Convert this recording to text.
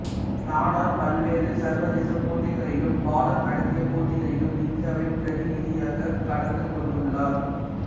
நாடார் பல்வேறு சர்வதேச போட்டிகளிலும் பாலம் நடத்திய போட்டிகளிலும் இந்தியாவின் பிரதிநிதியாக கலந்துகொண்டுள்ளார்